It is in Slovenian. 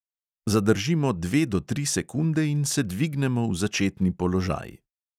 Zadržimo dve do tri sekunde in se dvignemo v začetni položaj.